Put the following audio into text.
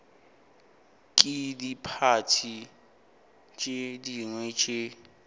ke diphathi tše dingwe tše